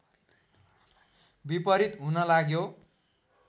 विपरीत हुन लाग्यो